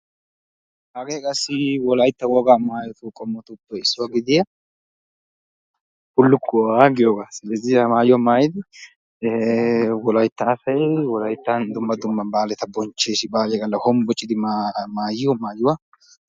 hagee qassi wolaytta wogaa maayotuppe bulukkuwa giyoogaa silezih baaliya gala hombbocidi maayiyo maayuwa.